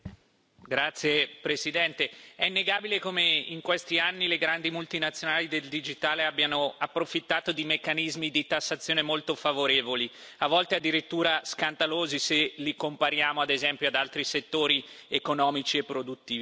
Signor Presidente, onorevoli colleghi, è innegabile come in questi anni le grandi multinazionali del digitale abbiano approfittato di meccanismi di tassazione molto favorevoli, a volte addirittura scandalosi, se li compariamo ad esempio ad altri settori economici e produttivi.